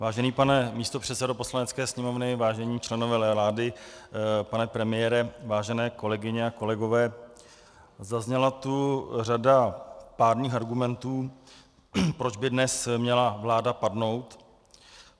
Vážený pane místopředsedo Poslanecké sněmovny, vážení členové vlády, pane premiére, vážené kolegyně a kolegové, zazněla tu řada pádných argumentů, proč by dnes měla vláda padnout.